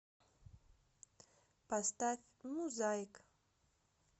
поставь муззаик